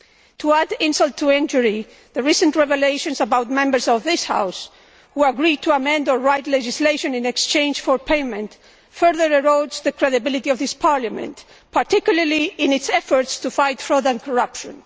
To add insult to injury, the recent revelations about members of this House who agreed to amend or write legislation in exchange for payment further erode the credibility of this Parliament, particularly in its efforts to fight fraud and corruption.